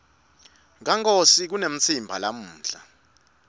kankosi kunemtsimba namuhla